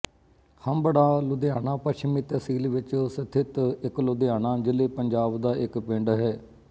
ਹੰਬੜਾਂ ਲੁਧਿਆਣਾ ਪੱਛਮੀ ਤਹਿਸੀਲ ਵਿੱਚ ਸਥਿਤ ਇੱਕ ਲੁਧਿਆਣਾ ਜ਼ਿਲ੍ਹੇਪੰਜਾਬ ਦਾ ਇੱਕ ਪਿੰਡ ਹੈ